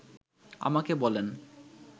আমাকে বলেন